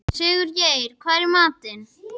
Sigurgeir, hvað er í matinn?